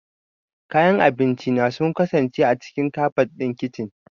Kayayyakin abinci na sun kasance a cikin kabad ɗin kicin.